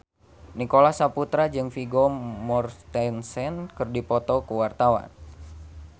Nicholas Saputra jeung Vigo Mortensen keur dipoto ku wartawan